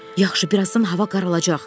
Yaxşı, birazdan hava qaralacaq.